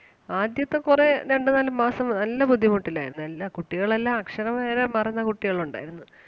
ആദ്യത്തെ കൊറേ രണ്ട് നാല് മാസങ്ങൾ നല്ല ബുദ്ധിമുട്ടിലാരുന്നു എല്ലാ കുട്ടികൾ എല്ലാം അക്ഷരം വരെ മറന്ന കുട്ടികൾ ഒണ്ടാരുന്നു.